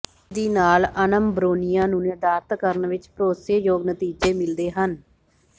ਇਸ ਵਿਧੀ ਨਾਲ ਅਨਮਬ੍ਰੋਨਿਆ ਨੂੰ ਨਿਰਧਾਰਤ ਕਰਨ ਵਿੱਚ ਭਰੋਸੇਯੋਗ ਨਤੀਜੇ ਮਿਲਦੇ ਹਨ